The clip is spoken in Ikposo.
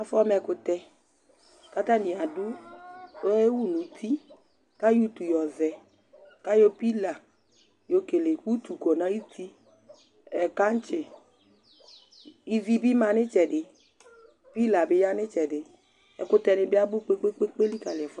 afɔ ma ɛkutɛ, ku ata ni adu, oyewu nu uti, ku ayɔ utu yɔzɛ , ku ayɔ pila yɔ kele utu kɔ nu ayuti, ɛ kantsi, ivi bi ma nu itsɛdi, pila bi ya nu itsɛdi, ɛkutɛ ni bi abu kpekpekpe li kali ɛfuɛ du